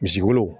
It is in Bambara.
Misi wolo